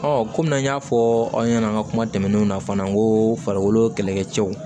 kɔmi an y'a fɔ aw ɲɛna an ka kuma tɛmɛnenw na fana n ko farikolo kɛlɛkɛcɛw